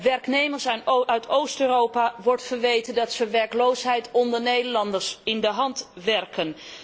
Werknemers uit Oost Europa wordt verweten dat zij werkloosheid onder Nederlanders in de hand werken.